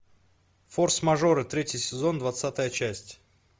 форс мажоры третий сезон двадцатая часть